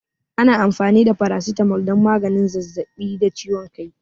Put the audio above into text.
Ana amfani da Paracetamol don maganin zazzaɓi da ciwon kai.